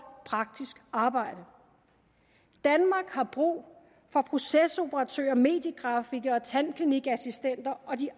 praktisk arbejde danmark har brug for procesoperatører mediegrafikere tandklinikassistenter og de